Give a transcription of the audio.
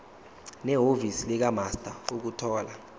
nehhovisi likamaster ukuthola